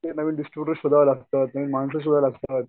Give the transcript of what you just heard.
नवीन distributors सुद्धा लागतात माणसं सुद्धा लागतात.